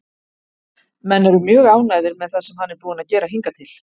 Menn eru mjög ánægðir með það sem hann er búinn að gera hingað til.